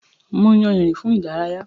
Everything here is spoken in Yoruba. Mo yàn ìrìn fún ìdárayá.